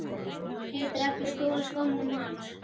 Geturðu ekki stolið skónum hans